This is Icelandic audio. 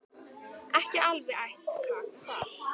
Ekki alveg æt kaka þar.